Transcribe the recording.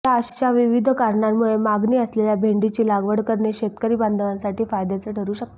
या अशा विविध कारणांमुळे मागणी असलेल्या भेंडीची लागवड करणे शेतकरी बांधवांसाठी फायद्याचे ठरू शकते